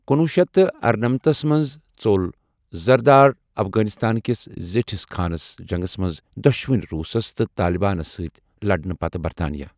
کُنۄہ شیتھ ارنمَتھس منٛز ژوٚل زرداد افغانستان کِس زیٖٹِھس خانہٕ جنگس منٛز دۄشوٕنۍ روسس تہٕ طالِبانن سۭتۍ لڑنہٕ پتہٕ برطانیہ۔